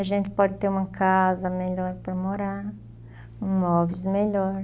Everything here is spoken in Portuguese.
A gente pode ter uma casa melhor para morar, um móvel melhor.